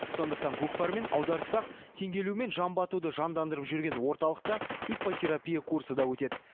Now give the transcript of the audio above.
сондықтан көкпар мен аударыспақ теңге ілу мен жамбы атуды жандандырып жүрген орталықта иппотерапия курсы да өтеді